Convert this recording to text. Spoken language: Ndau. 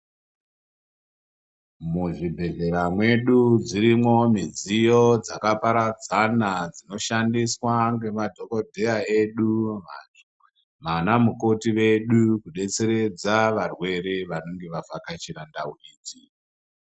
Muzvibhedhlera mwedu dzirimwo midziyo dzakaparadzana dzinoshandiswa ngemadhokodheya edu, vanamukoti vedu kudetseredza varwere vanenge vavhakachira ndau idzi.